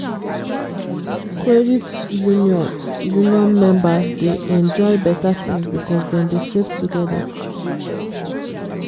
credit union union members dey enjoy better things because dem dey save together.